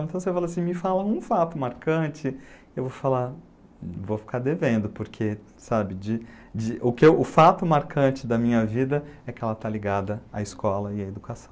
Então você fala assim, me fala um fato marcante, eu vou falar, vou ficar devendo, porque o fato marcante da minha vida é que ela está ligada à escola e à educação.